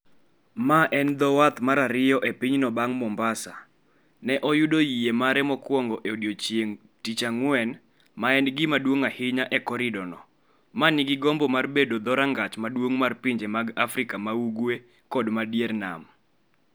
Ma en dho wath mar ariyo e pinyno bang' Mombasa, ne oyudo yie mare mokwongo e odiechieng' Tich Ang'wen, ma en gima duong' ahinya e koridorno, ma nigi gombo mar bedo dho rangach maduong' mar pinje mag Afrika ma ugwe kod ma dier nam.